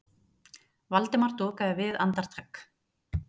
Valdimar dokaði við andartak.